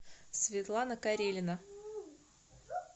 светлана карелина